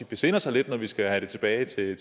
besinder sig lidt når vi skal have det tilbage i